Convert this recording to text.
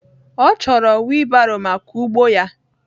Ọ chọrọ wiilbaro maka ugbo ya